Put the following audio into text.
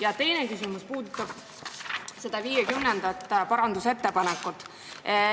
Ja teine küsimus puudutab 50. parandusettepanekut.